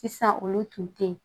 Sisan olu tun tɛ yen